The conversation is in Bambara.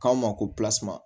K'aw ma ko pilasi